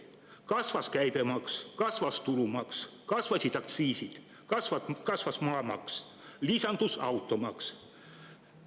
Kasvas käibemaks, kasvas tulumaks, kasvasid aktsiisid, kasvas maamaks, lisandus automaks.